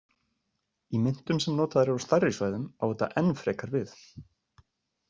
Í myntum sem notaðar eru á stærri svæðum á þetta enn frekar við.